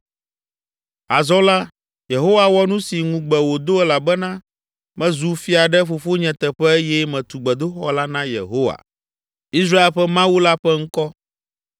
“Azɔ la, Yehowa wɔ nu si ŋugbe wòdo elabena mezu fia ɖe fofonye teƒe eye metu gbedoxɔ la na Yehowa, Israel ƒe Mawu la ƒe ŋkɔ.